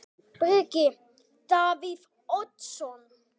Breki: Davíð Oddsson?